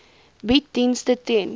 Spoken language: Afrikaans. bied dienste ten